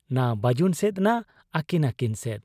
ᱱᱟ ᱵᱟᱹᱡᱩᱱ ᱥᱮᱫ ᱱᱟ ᱟᱹᱠᱤᱱ ᱟᱹᱠᱤᱱ ᱥᱮᱫ ᱾